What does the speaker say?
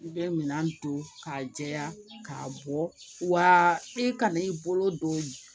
I bɛ minɛn don k'a jɛya k'a bɔ wa i kana i bolo don